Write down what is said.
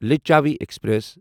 Lichchhavi express